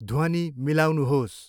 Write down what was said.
ध्वनि मिलाउनुहोस्।